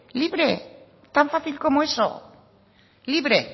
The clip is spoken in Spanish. libre tal fácil como eso libre